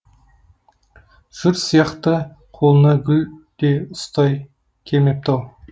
жұрт сияқты қолына гүл де ұстай келмепті ау